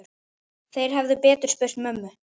Þeir hefðu betur spurt mömmu.